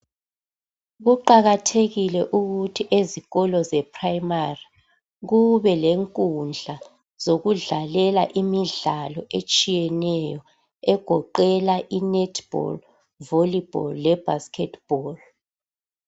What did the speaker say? Kuqakathekile ukuthi ezikolo ze primary kube lenkundla zokudlalela imidlalo etshiyeneyo egoqela i-netball, volleyball le basketball.